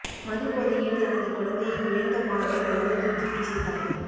மது போதையில் தனது குழந்தையை உயர்ந்த பாலத்தில் இருந்து தூக்கி வீசிய தாய்